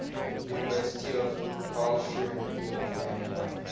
university of karlsruhe alumni